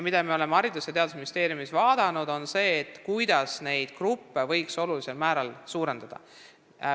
Me oleme Haridus- ja Teadusministeeriumis mõelnud, kuidas võiks õppegruppe suurendada.